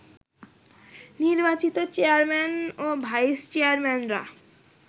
নির্বাচিত চেয়ারম্যান ও ভাইস চেয়ারম্যানরা